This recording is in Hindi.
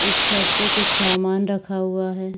एक छत पे कुछ सामान रखा हुआ है।